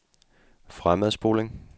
fremadspoling